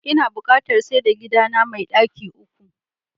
Inada buƙatar saida gidana me ɗaki uku.